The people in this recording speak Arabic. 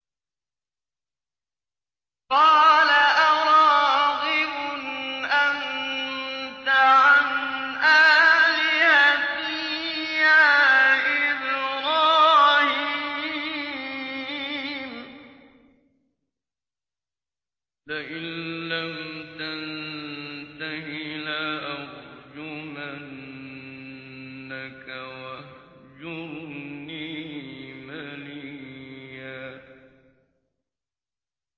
قَالَ أَرَاغِبٌ أَنتَ عَنْ آلِهَتِي يَا إِبْرَاهِيمُ ۖ لَئِن لَّمْ تَنتَهِ لَأَرْجُمَنَّكَ ۖ وَاهْجُرْنِي مَلِيًّا